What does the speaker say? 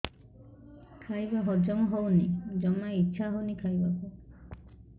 ଖାଇବା ହଜମ ହଉନି ଜମା ଇଛା ହଉନି ଖାଇବାକୁ